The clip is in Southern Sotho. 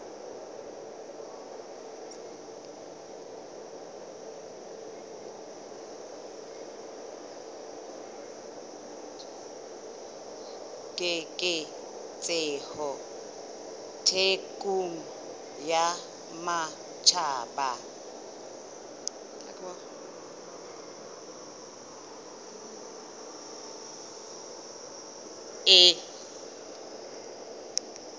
keketseho thekong ya matjhaba e